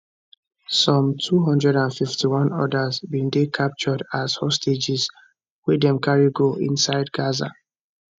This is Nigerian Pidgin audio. some 251 odas bin dey captured as hostages wey dem carry go inside gaza